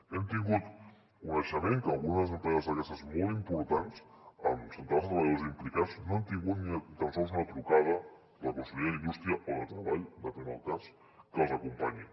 hem tingut coneixement que algunes empreses d’aquestes molt importants amb centenars de treballadors implicats no han tingut ni tan sols una trucada de la conselleria d’indústria o de treball depèn del cas que els acompanyi